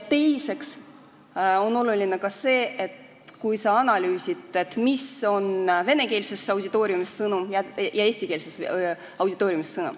Teiseks on oluline ka analüüsida, mis on sõnum venekeelses auditooriumis ja mis eestikeelses auditooriumis.